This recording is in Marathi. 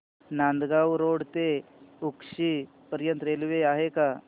नांदगाव रोड ते उक्षी पर्यंत रेल्वे आहे का